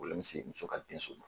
se muso ka denso ma.